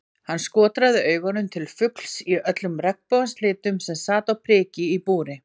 Hann skotraði augunum til fugls í öllum regnbogans litum sem sat á priki í búri.